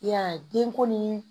I y'a ye den ko ni